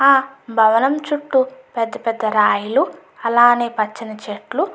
ఆలా భవనం చుట్టు పెద్ద పెద్ద రాయిలు అలానే పచ్చని చెట్లు--